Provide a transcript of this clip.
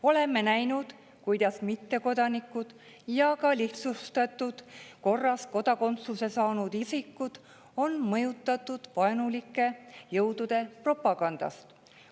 Oleme näinud, kuidas mittekodanikud ja ka lihtsustatud korras kodakondsuse saanud isikud on mõjutatud vaenulike jõudude propagandast.